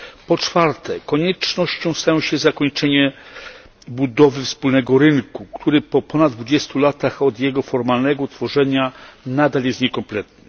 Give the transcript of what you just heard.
Po czwarte, koniecznością staje się zakończenie budowy wspólnego rynku, który po ponad dwudziestu latach od jego formalnego utworzenia nadal jest niekompletny.